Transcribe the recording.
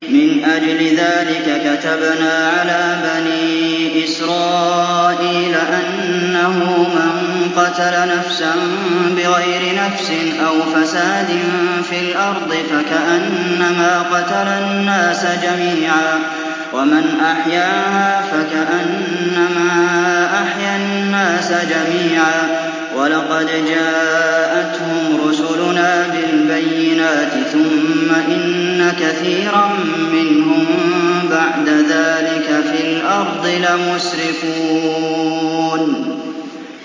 مِنْ أَجْلِ ذَٰلِكَ كَتَبْنَا عَلَىٰ بَنِي إِسْرَائِيلَ أَنَّهُ مَن قَتَلَ نَفْسًا بِغَيْرِ نَفْسٍ أَوْ فَسَادٍ فِي الْأَرْضِ فَكَأَنَّمَا قَتَلَ النَّاسَ جَمِيعًا وَمَنْ أَحْيَاهَا فَكَأَنَّمَا أَحْيَا النَّاسَ جَمِيعًا ۚ وَلَقَدْ جَاءَتْهُمْ رُسُلُنَا بِالْبَيِّنَاتِ ثُمَّ إِنَّ كَثِيرًا مِّنْهُم بَعْدَ ذَٰلِكَ فِي الْأَرْضِ لَمُسْرِفُونَ